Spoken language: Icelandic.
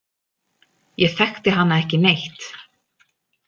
Ég þekkti hana ekki neitt.